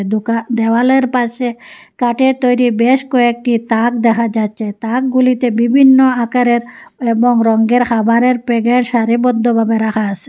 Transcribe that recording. দোকা দেওয়ালের পাশে কাঠের তৈরি বেশ কয়েকটি তাক দেখা যাচ্ছে তাকগুলিতে বিভিন্ন আকারের এবং রঙ্গের হাবারের প্যাকেট সারিবদ্ধভাবে রাখা আসে।